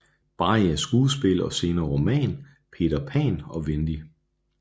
Barries skuespil og senere roman Peter Pan og Wendy